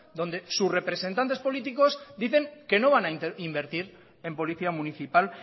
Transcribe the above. donde sus representantes políticos dicen que no van a invertir en policía municipal